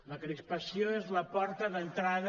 la crispació és la porta d’entrada